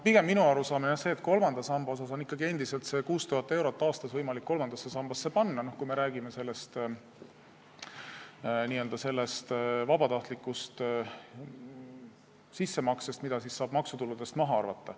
Pigem on minu arusaamine see, et ikkagi on endiselt võimalik 6000 eurot aastas kolmandasse sambasse panna, kui me räägime vabatahtlikust sissemaksest, mida saab maksutuludest maha arvata.